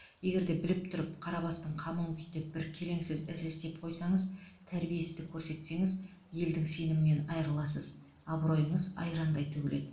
егерде біліп тұрып қара бастың қамын күйттеп бір келеңсіз іс істеп қойсаңыз тәрбиесіздік көрсетсеңіз елдің сенімінен айырыласыз абыройыңыз айрандай төгіледі